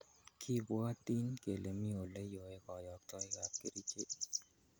Kibwotin kele mi oleyoekoyoktoikab kerichek.